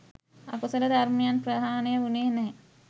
අකුසල ධර්මයන් ප්‍රහාණය වුණේ නෑ.